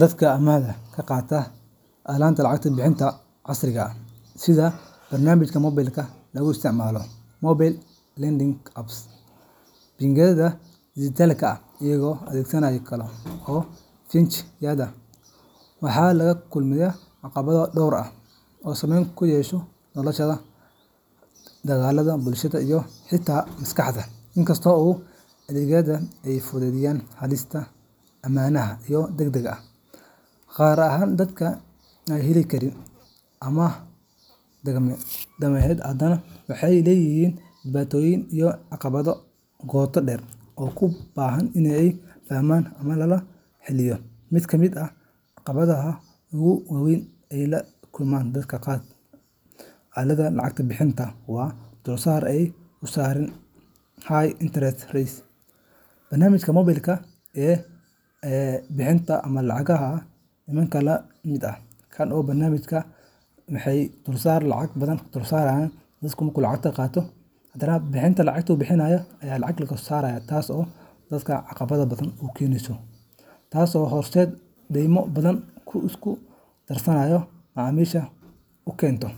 Dadka amaahda ka qaata aaladaha lacag-bixinta casriga ah, sida barnaamijyada moobilka lagu isticmaalo mobile lending apps, bangiyada dhijitaalka ah, iyo adeegyada kale ee fintech-yada, waxay la kulmaan caqabado dhowr ah oo saamayn ku yeesha noloshooda dhaqaale, bulsho, iyo xitaa maskaxeed. Inkasta oo adeegyadan ay fududeeyeen helista amaahaha degdegga ah, gaar ahaan dadka aan heli karin amaah dhaqameed, haddana waxay leeyihiin dhibaatooyin iyo caqabado qoto dheer oo u baahan in la fahmo lana xalliyo. Mid ka mid ah caqabadaha ugu waa weyn ee ay la kulmaan dadka qaata amaahda aaladaha lacag-bixinta waa dulsaar aad u sarreeya high interest rates. Barnaamijyadan moobilka ee amaahda bixiya ma laha nidaam la mid ah kan bangiyada dhaqameed, waxaana dulsaar la saaraa amaahda uu aad uga sarreeyaa kan bangiyada. Tani waxay sababtaa in dadka ay si degdeg ah u bixin waayaan amaahdii, taasoo horseedda deyma badan oo isku darsama, macaamiishana u keenta